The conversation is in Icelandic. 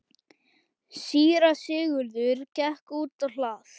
Síra Sigurður gekk út á hlað.